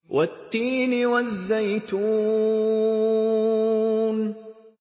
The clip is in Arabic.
وَالتِّينِ وَالزَّيْتُونِ